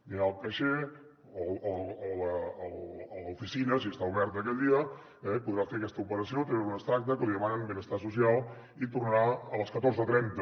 anirà al caixer o a l’oficina si està oberta aquell dia eh podrà fer aquesta operació treure un extracte que li demanen benestar social i tornarà a les catorze trenta